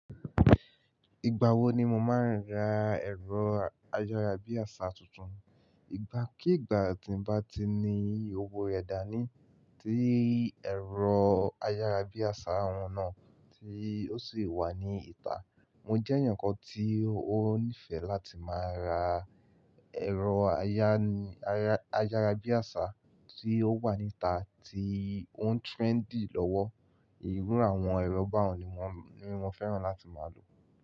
Ìgbà wo ni mo máa ń ra ẹ̀rọ ayárabíàṣá tuntun? Ìgbà kí ìgbà tí n bá ti ní owó rẹ̀ dání tí ẹ̀rọ ayárabíàṣá ohun náà tí ó sì le wà ní ìta. Mo jẹ́ èèyàn kan tí ó nífẹ̀ẹ́ láti máa ra ẹ̀rọ ayá- ayá- ayárabíàṣá tí ó wà níta tí ó ń trendy lọ́wọ́. Ìrú àwọn ẹ̀rọ ba ọ̀ún ni wọ́n, ni mo fẹ́ràn láti máa lò.